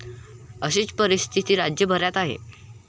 अशीच परिस्थिती राज्यभरात आहे.